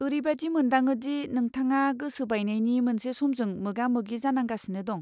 ओरैबादि मोनदाङो दि नोंथाङा गोसो बायनायनि मोनसे समजों मोगा मोगि जानांगासिनो दं।